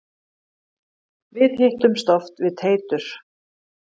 Við hittumst oft við Teitur.